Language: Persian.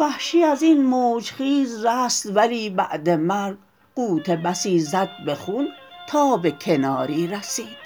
وحشی ازین موج خیز رست ولی بعد مرگ غوطه بسی زد به خون تا به کناری رسید